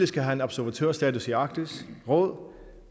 skal have observatørstatus i arktis råd